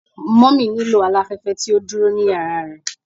Mummy nilo alafẹfẹ ti o duro ni yara rẹ